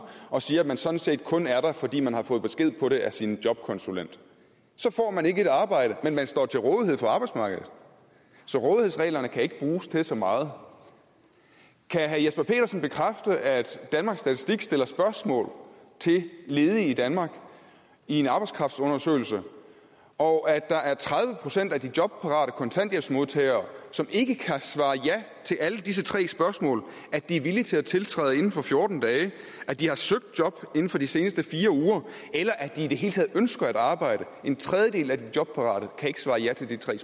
og siger at man sådan set kun er der fordi man har fået besked på det af sin jobkonsulent så får man ikke et arbejde men man står til rådighed for arbejdsmarkedet så rådighedsreglerne kan ikke bruges til så meget kan herre jesper petersen bekræfte at danmarks statistik har stillet spørgsmål til ledige i danmark i en arbejdskraftundersøgelse og at tredive procent af de jobparate kontanthjælpsmodtagere ikke kan svare ja til alle disse tre spørgsmål at de er villige til at tiltræde inden for fjorten dage at de har søgt job inden for de seneste fire uger eller at de i det hele taget ønsker at arbejde en tredjedel at de jobparate kan ikke svare ja til de tre